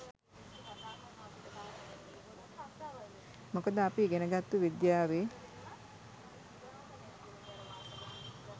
මොකද අපි ඉගෙන ගත්තු විද්‍යාවේ